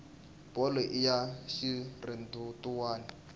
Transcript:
bolo i ya xirhendewutani